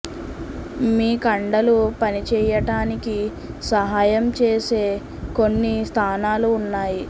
మీ కండలు పని చేయటానికి సహాయం చేసే కొన్ని స్థానాలు ఉన్నాయి